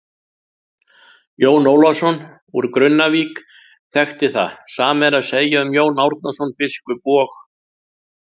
Jón Ólafsson úr Grunnavík þekkti það, sama er að segja um Jón Árnason biskup og.